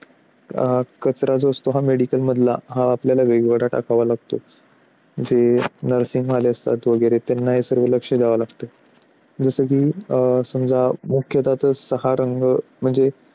कचरा जो असतो, medical मधला तो आपल्याला वेगळा वेगळा टाकावा लागतो. जे nursing वगैरे वाले असतात. वगैरे त्यांनाही लक्ष द्यावे लागतात जसे की समजा मुख्यतः सहा रंग